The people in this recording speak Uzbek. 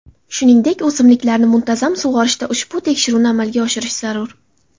Shuningdek, o‘simliklarni muntazam sug‘orishda ushbu tekshiruvni amalga oshirish zarur.